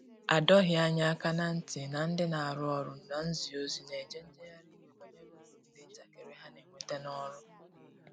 A dọghi anya aka na nti na ndi na arụ ọrụ na nzi ozi na eje njehari iwe banyere ụrụ ndi ntakiri ha n'enweta n'ọrụ.